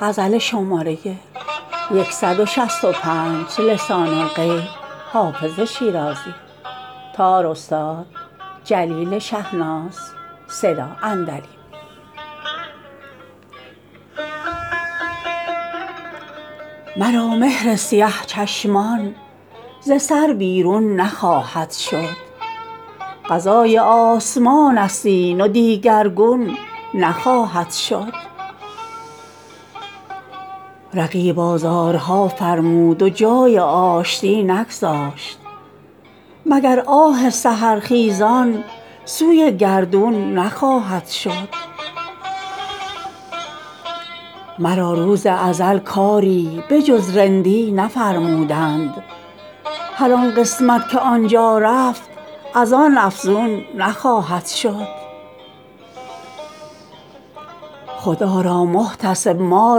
مرا مهر سیه چشمان ز سر بیرون نخواهد شد قضای آسمان است این و دیگرگون نخواهد شد رقیب آزارها فرمود و جای آشتی نگذاشت مگر آه سحرخیزان سوی گردون نخواهد شد مرا روز ازل کاری به جز رندی نفرمودند هر آن قسمت که آن جا رفت از آن افزون نخواهد شد خدا را محتسب ما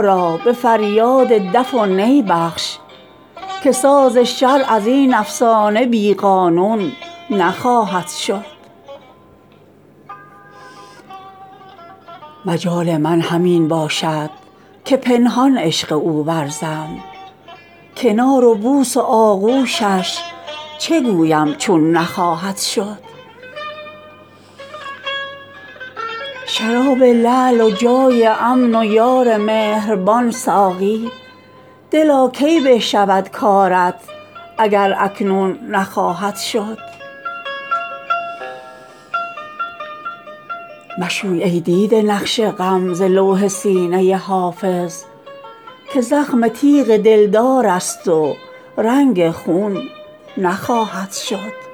را به فریاد دف و نی بخش که ساز شرع از این افسانه بی قانون نخواهد شد مجال من همین باشد که پنهان عشق او ورزم کنار و بوس و آغوشش چه گویم چون نخواهد شد شراب لعل و جای امن و یار مهربان ساقی دلا کی به شود کارت اگر اکنون نخواهد شد مشوی ای دیده نقش غم ز لوح سینه حافظ که زخم تیغ دلدار است و رنگ خون نخواهد شد